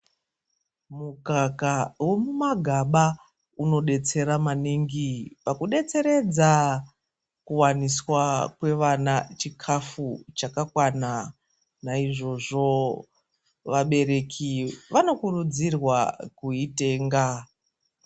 Mukaka womumagaba unodetsera maningi pakudetseredza kuwaniswa kwevana chikhafu chakakwana. Naizvozvo, vabereki vano kurudzirwa kuitenga.